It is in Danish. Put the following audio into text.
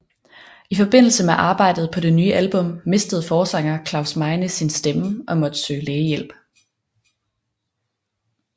I forbindelse med arbejdet på det nye album mistede forsanger Klaus Meine sin stemme og måtte søge lægehjælp